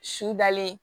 Su dalen